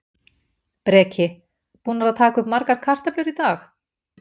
Breki: Búnar að taka upp margar kartöflur í dag?